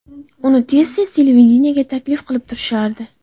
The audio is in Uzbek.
Uni tez-tez televideniyega taklif qilib turishardi.